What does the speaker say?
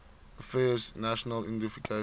affairs national identification